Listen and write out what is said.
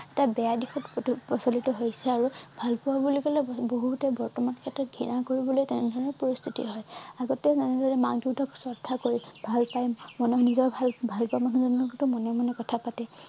এটা বেয়া দিশত প্ৰচলিত হৈছে আৰু ভাল পোৱা বুলি কলে বহুতে বৰ্তমান ক্ষেত্ৰত ঘৃণা কৰিবলৈ তেনেধৰণে পৰিস্থিতি হয় আগতে যেনেদৰে মাক দেউতাক শ্ৰদ্ধা কৰি ভাল পায় নিজক ভাল ভাল পোৱা মানুহ জনৰ লগতো মনে মনে কথা পাতে